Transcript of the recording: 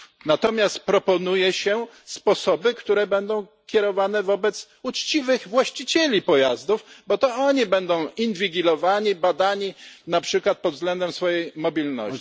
Natomiast proponuje się sposoby, które będą kierowane do uczciwych właścicieli pojazdów, bo to oni będą inwigilowani, badani, na przykład pod względem swojej mobilności.